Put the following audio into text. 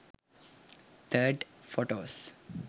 3d photos